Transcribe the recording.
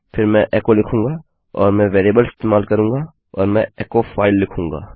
फिर मैं एचो लिखूँगा और मैं वेरिएबल इस्तेमाल करूँगा और मैं एचो फाइल लिखूँगा